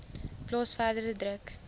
plaas verdere druk